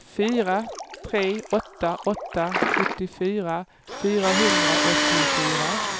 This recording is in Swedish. fyra tre åtta åtta sjuttiofyra fyrahundraåttiofyra